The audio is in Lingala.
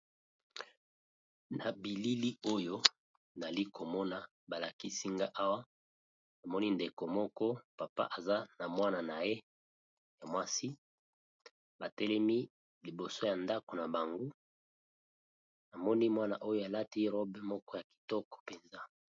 Na bilili oyo nali ko mona ba lakisi nga awa na moni ndeko moko papa aza na mwana na ye ya mwasi. Ba telemi liboso ya ndako na bango. Na moni mwana oyo alati robe moko ya kitoko mpenza.